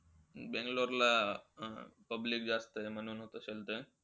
बँगलोर ला public जास्तय म्हणून.